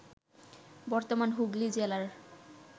বর্তমান হুগলি জেলার